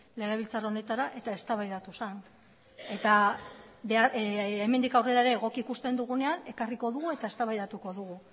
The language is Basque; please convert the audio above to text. legebiltzar honetara eta eztabaidatu zen eta hemendik aurrera ere egoki ikusten dugunean ekarriko dugu eta eztabaidatuko dugu